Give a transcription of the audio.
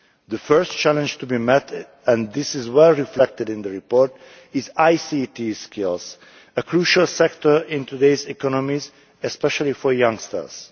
The first challenge to be met, and this is well reflected in the report, concerns ICT skills, a crucial sector in today's economies, especially for youngsters.